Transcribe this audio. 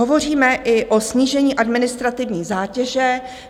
Hovoříme i o snížení administrativní zátěže.